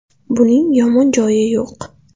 Buning yomon joyi yo‘q.